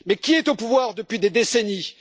Mais qui est au pouvoir depuis des décennies?